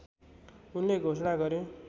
उनले घोषणा गरे